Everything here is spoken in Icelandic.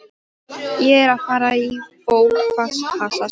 Ég er að fara í bófahasar sagði Lilla.